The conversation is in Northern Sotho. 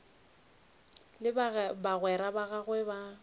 le bagwera ba gagwe ba